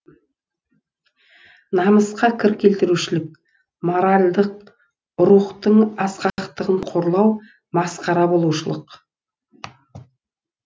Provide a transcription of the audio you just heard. намысқа кір келтірушілік моральдық рухтың асқақтығын қорлау масқара болушылық